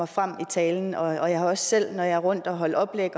frem i talen og jeg har også selv når jeg rundt at holde oplæg